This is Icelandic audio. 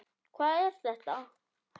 Hvað er þetta, Helgi?